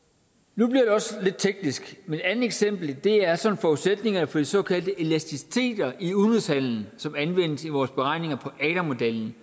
nu bliver det også lidt teknisk men et andet eksempel er så forudsætningerne for de såkaldte elasticiteter i udenrigshandelen som anvendes i vores beregninger i adam modellen